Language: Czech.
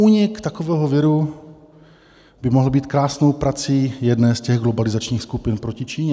Únik takového viru by mohl být krásnou prací jedné z těch globalizačních skupin proti Číně.